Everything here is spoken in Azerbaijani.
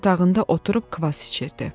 Yatağında oturub kvass içirdi.